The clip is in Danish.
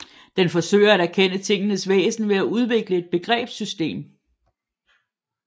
Den forsøger at erkende tingenes væsen ved at udvikle et begrebssystem